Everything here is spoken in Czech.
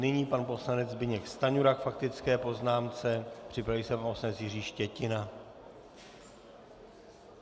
Nyní pan poslanec Zbyněk Stanjura k faktické poznámce, připraví se pan poslanec Jiří Štětina.